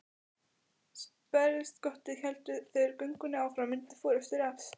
Sperrtist skottið héldu þeir göngunni áfram undir forystu Refs.